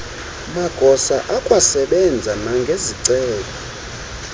magosa akwasebenza nangezicelo